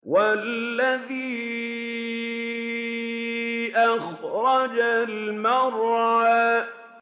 وَالَّذِي أَخْرَجَ الْمَرْعَىٰ